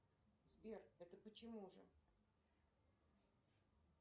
сбер это почему же